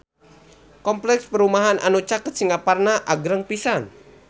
Kompleks perumahan anu caket Singaparna agreng pisan